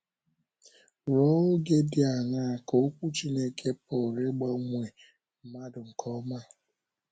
Ruo oge di aṅaa ka Okwu Chineke pụrụ ịgbanwe mmadụ nke ọma?